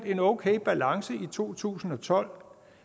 en okay balance i to tusind og tolv